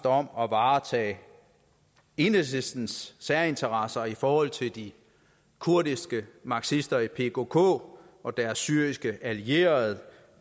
om at varetage enhedslistens særinteresser i forhold til de kurdiske marxister i pkk og deres syriske allierede